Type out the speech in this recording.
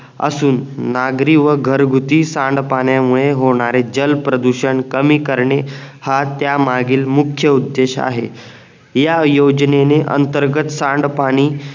असून नागरी व घरगुती सांड पाण्यामुळे होणारे जल प्रदूषण कमी करणे हा त्या मागील मुख्य उद्देश आहे या योजनेने अंतर्गत सांड पाणी